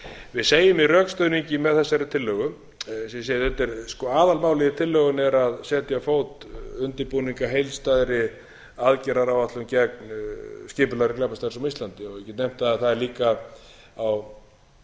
við segjum í rökstuðningi með þessari tillögu eins og ég segi aðalmálið í tillögunni er að setja á fót undirbúning að heildstæðri aðgerðaráætlun gegn skipulagðri glæpastarfsemi á íslandi ég get nefnt að það er líka á